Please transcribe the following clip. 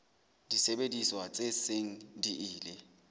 disebediswa tse seng di ile